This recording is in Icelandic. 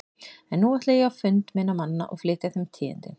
En nú ætla ég á fund minna manna og flytja þeim tíðindin.